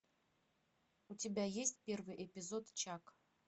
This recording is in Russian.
у тебя есть первый эпизод чак